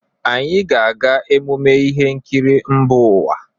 Anyị ga-aga ememme ihe nkiri mba ụwa.